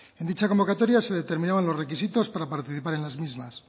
en dicha convocatoria se determinaban los requisitos para participar en